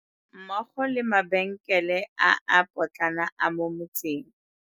Mmogo le mabenkele a a potlana a mo motseng.